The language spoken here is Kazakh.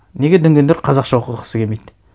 неге дүнгендер қазақша оқығысы келмейді